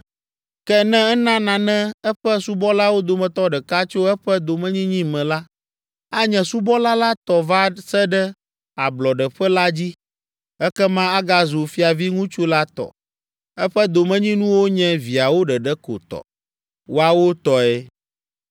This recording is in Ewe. Ke, ne ena nane eƒe subɔlawo dometɔ ɖeka tso eƒe domenyinyi me la, anye subɔla la tɔ va se ɖe ablɔɖeƒe la dzi, ekema agazu fiaviŋutsu la tɔ. Eƒe domenyinuwo nye viawo ɖeɖe ko tɔ; woawo tɔe.